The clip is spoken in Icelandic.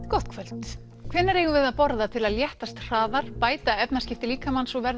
gott kvöld hvenær eigum við að borða til að léttast hraðar bæta efnaskipti líkamans og verða